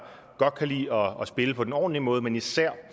godt kan lide at spille på den ordentlige måde men især